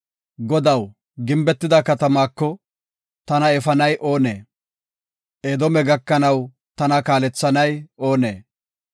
Godaw, gimbetida katamaako, tana efanay oonee? Edoome gakanaw tana kaalethanay oonee?